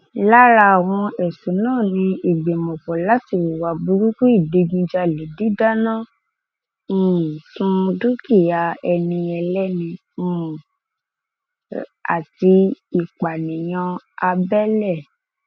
lára àwọn ẹsùn náà ni ìgbìmọpọ láti hùwà burúkú ìdígunjalè dídáná um sun dúkìá ẹni ẹlẹni um àti ìpànìyàn abẹlé